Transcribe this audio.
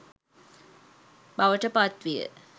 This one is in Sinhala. බවට පත්විය.